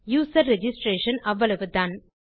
user registration அவ்வளவுதான்